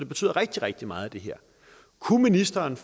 betyder rigtig rigtig meget kunne ministeren